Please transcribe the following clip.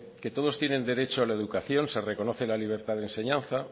que todos tienen derecho a la educación se reconoce la libertad de enseñanza